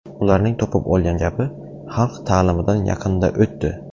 Ularning topib olgan gapi, ‘Xalq ta’limidan yaqinda o‘tdi’.